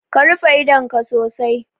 Ka rufe idonka sosai